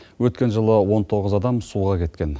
өткен жылы он тоғыз адам суға кеткен